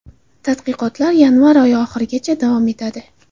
Tadqiqotlar yanvar oyi oxirigacha davom etadi.